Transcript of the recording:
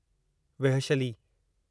वेहशली